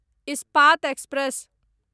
Ispat express